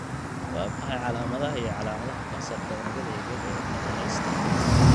Waa maxay calaamadaha iyo calaamadaha kansarka unugyada yaryar ee kaadiheysta?